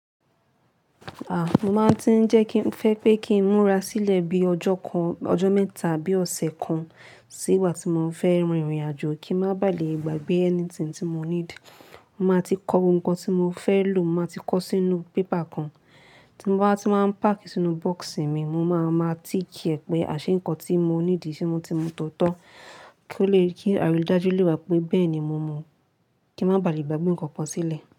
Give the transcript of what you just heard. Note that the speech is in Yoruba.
A, mo máa ń tí ń jẹ́ kí n fẹ́ pé kí ń múra sílẹ̀ bí ọjọ́ kan, ọjọ́ mẹ́ta àbí ọ̀sẹ̀ kan nígbà tí mo fẹ́ rin ìrìnàjò kí má bà lè ìgbà gbé ẹni tí mo need Mo máa ti kọ ohun kan tí mo fẹ́ lò, mo máa ti kọ sínu bébà kan tí mo bá ti máa pákì sínú bọ́ọ̀sì mi mo máa ma tíì kí ẹ̀ pé àṣeyọ́n ǹkan tí mo ní di ṣe mo ti mu tó tọ́ kí ó lè kí arídájú lè wà pé bẹ́ẹ̀ ni mo mu, kí má bà lè gbà bí ǹkan kan sílẹ̀.